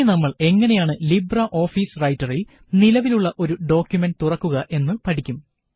ഇനി നമ്മള് എങ്ങനെയാണ് ലിബ്രെ ഓഫീസ് റൈറ്ററില് നിലവിലുള്ള ഒരു ഡോക്കുമന്റ് തുറക്കുക എന്ന് പഠിക്കും